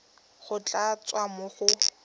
go tla tswa mo go